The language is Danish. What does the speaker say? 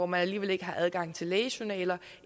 man alligevel ikke har adgang til lægejournaler